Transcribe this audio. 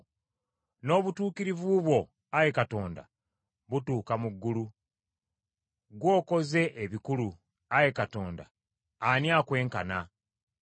N’obutuukirivu bwo, Ayi Katonda, butuuka mu ggulu. Ggw’okoze ebikulu, Ayi Katonda, ani akwenkana?